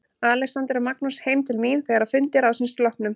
Alexander og Magnús heim til mín þegar að fundi ráðsins loknum.